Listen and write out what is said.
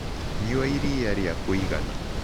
Nyua iria rĩa kũĩgana